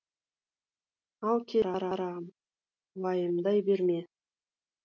ал келін қарағым уайымдай берме